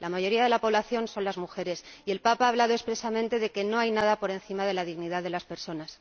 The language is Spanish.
La mayoría de la población son las mujeres y el Papa ha hablado expresamente de que no hay nada por encima de la dignidad de las personas.